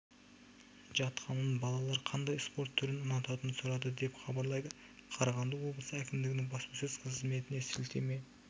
жатқанын балалар қандай спорт түрін ұнататынын сұрады деп хабарлайды қарағанды облысы әкімдігінің баспасөз қызметіне сілтеме